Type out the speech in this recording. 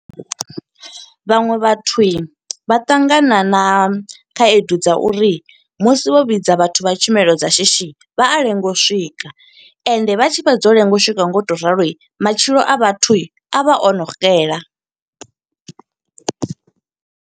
Vhaṅwe vhatho vha ṱangana na khaedu dza uri, musi vho vhidza vhathu vha tshumelo dza shishi. Vha a lenga u swika, ende vha tshi fhedza u lenga u swika nga u to ralo, matshilo a vhathu, a vha o no xela.